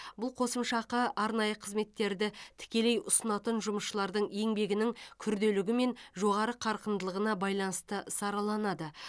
бұл қосымша ақы арнайы қызметтерді тікелей ұсынатын жұмысшылардың еңбегінің күрделілігі мен жоғары қарқындылығына байланысты сараланады